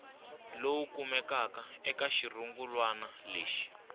lowu kumekaka eka xirungulwana lexi